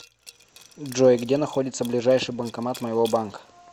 джой где находится ближайший банкомат моего банка